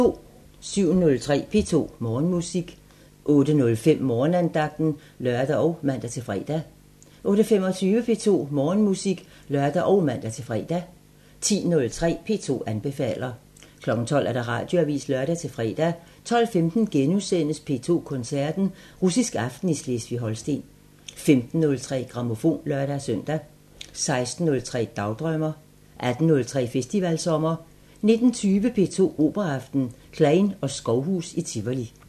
07:03: P2 Morgenmusik 08:05: Morgenandagten (lør og man-fre) 08:25: P2 Morgenmusik (lør og man-fre) 10:03: P2 anbefaler 12:00: Radioavisen (lør-fre) 12:15: P2 Koncerten – Russisk aften i Slesvig-Holsten * 15:03: Grammofon (lør-søn) 16:03: Dagdrømmer 18:03: Festivalsommer 19:20: P2 Operaaften – Kleyn & Skovhus i Tivoli